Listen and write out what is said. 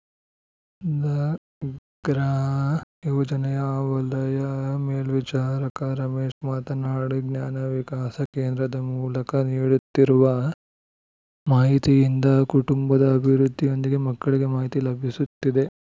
ಧಗ್ರಾ ಯೋಜನೆಯ ವಲಯ ಮೇಲ್ವಿಚಾರಕ ರಮೇಶ್‌ ಮಾತನಾಡಿ ಜ್ಞಾನ ವಿಕಾಸ ಕೇಂದ್ರದ ಮೂಲಕ ನೀಡುತ್ತಿರುವ ಮಾಹಿತಿಯಿಂದ ಕುಟುಂಬದ ಅಭಿವೃದ್ಧಿಯೊಂದಿಗೆ ಮಕ್ಕಳಿಗೆ ಮಾಹಿತಿ ಲಭಿಸುತ್ತಿದೆ